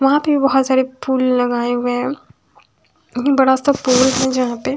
वहां पे बहोत सारे फूल लगाए हुए हैं बड़ा सा पेड़ नजर आते--